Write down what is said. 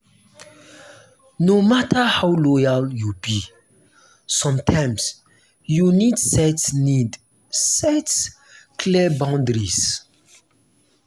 no matter how loyal you be sometimes you need set need set clear boundaries.